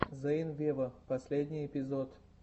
зейн вево последний эпизод